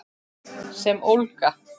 Sem ólga.